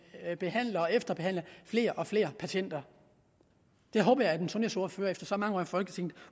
at behandle og efterbehandle flere og flere patienter det håber jeg at en sundhedsordfører efter så mange år i folketinget